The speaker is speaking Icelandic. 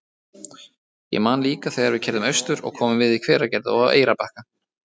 Ég man líka þegar við keyrðum austur og komum við í Hveragerði og á Eyrarbakka.